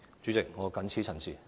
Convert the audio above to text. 主席，我謹此陳辭。